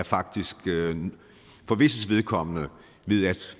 faktisk for visses vedkommende ved at